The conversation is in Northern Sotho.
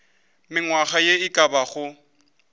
mengwaga ye e ka bago